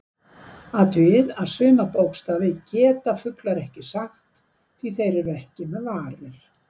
Athugið að suma bókstafi geta fuglar ekki sagt því þeir eru ekki með varir.